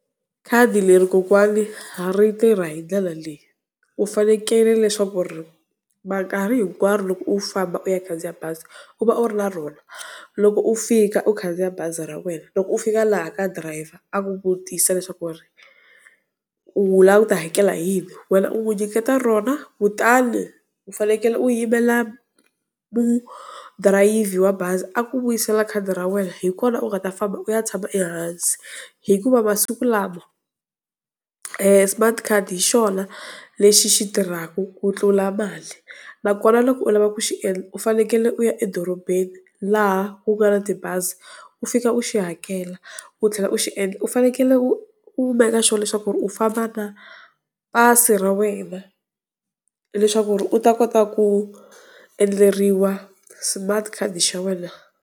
Khadi leri kokwani ri tirha hi ndlela leyi u fanekele leswaku ri minkarhi hinkwaro loko u famba u ya khandziya bazi u va u ri na rona. Loko u fika u khandziya bazi ra wena loko u fika laha ka driver a ku vutisa leswaku ri u lava ku ta hakela hi yini wena u n'wi nyiketa rona kutani u fanekele u yimela mudrayivhi wa bazi a ku vuyisela khadi ra wena hikona u nga ta famba u ya tshama ehansi. Hikuva masiku lama smart card hi xona lexi xi tirhaka ku tlula mali, nakona loko u lava ku xi endla u fanekele u ya edorobeni laha ku nga na tibazi u fika u xi hakela, u tlhela u xi endla u fanekele u u make sure leswaku u famba na pasi ra wena, leswaku ri u ta kota ku endleriwa smart card xa wena.